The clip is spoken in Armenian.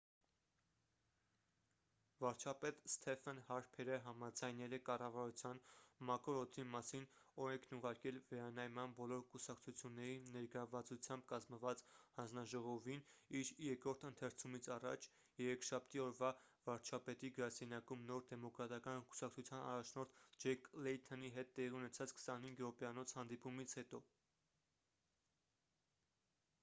վարչապետ ստեֆեն հարփերը համաձայնել է կառավարության 'մաքուր օդի մասին' օրենքն ուղարկել վերանայման բոլոր կուսակցությունների ներգրավվածությամբ կազմված հանձնաժողովին իր երկրորդ ընթերցումից առաջ երեքշաբթի օրվա վարչապետի գրասենյակում նոր դեմոկրատական կուսակցության առաջնորդ ջեք լեյթոնի հետ տեղի ունեցած 25 րոպեանոց հանդիպումից հետո